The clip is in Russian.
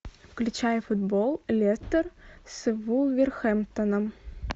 включай футбол лестер с вулверхэмптоном